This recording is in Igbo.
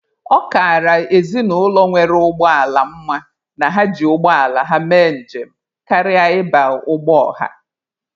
Ọ kara ezinụlọ nwere ụgbọ ala mma na ha ji ụgbọala ha mee njem karịa ịba ụgbọ ọha.